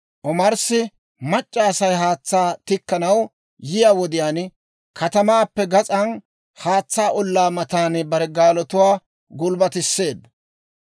Omarssi, mac'c'a Asay haatsaa tikkanaw yiyaa wodiyaan, katamaappe gas'an haatsaa ollaa matan bare gaalotuwaa gulbbatisseedda.